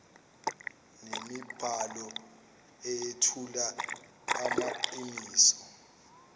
nemibhalo eyethula amaqiniso